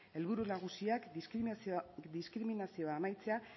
helburu nagusiak diskriminazioa amaitzea